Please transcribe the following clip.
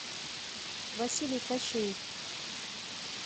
василий кащеев